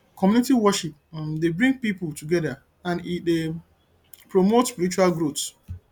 community worship um dey bring pipo together and e um dey promote spiritual growth